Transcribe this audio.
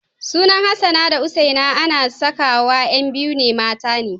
Sunan Hassana da Husaina ana sakawa ƴan biyu mata ne.